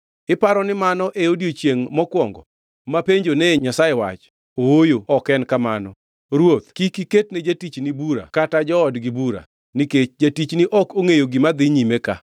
Iparo ni mano e odiechiengʼ mokwongo mapenjonee Nyasaye wach? Ooyo ok en kamano! Ruoth kik iketne jatichni bura kata joodgi bura, nikech jatichni ok ongʼeyo gima dhi nyime ka.”